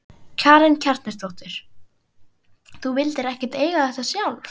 Karen Kjartansdóttir: Þú vildir ekkert eiga þetta sjálf?